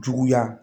Juguya